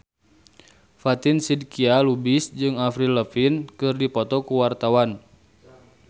Fatin Shidqia Lubis jeung Avril Lavigne keur dipoto ku wartawan